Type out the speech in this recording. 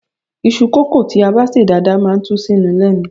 Iṣu kókò tí a bá sè dáadáa máa ń tú síni lẹ́nu.